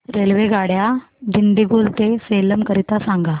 रेल्वेगाड्या दिंडीगुल ते सेलम करीता सांगा